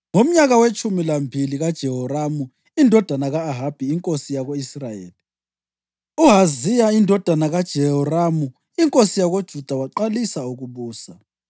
Ngomnyaka wetshumi lambili kaJoramu indodana ka-Ahabi inkosi yako-Israyeli, u-Ahaziya indodana kaJehoramu inkosi yakoJuda waqalisa ukubusa.